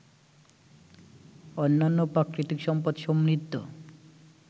অন্যান্য প্রাকৃতিক সম্পদ সমৃদ্ধ